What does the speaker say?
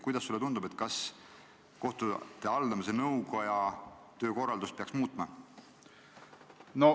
Kuidas sulle tundub, kas kohtute haldamise nõukoja töökorraldust peaks muutma?